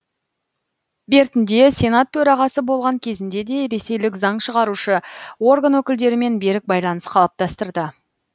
бертінде сенат төрағасы болған кезінде де ресейлік заң шығарушы орган өкілдерімен берік байланыс қалыптастырды